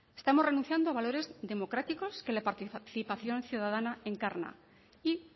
estamos renunciando a valores democráticos que la participación ciudadana encarna y